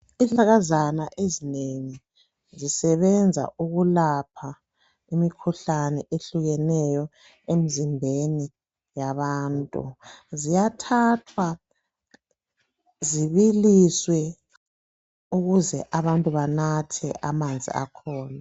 Isihlahlakazana ezinengi zisebenza ukulapha imikhuhlane etshiyeneyo emzimbeni yabantu. Ziyathathwa zibiliswe ukuze abantu banathe amanzi akhona.